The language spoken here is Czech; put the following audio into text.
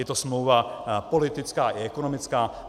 Je to smlouva politická i ekonomická.